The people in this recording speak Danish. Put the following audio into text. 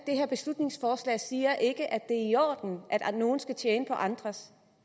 det her beslutningsforslag siger ikke at det er i orden at nogle skal tjene på andres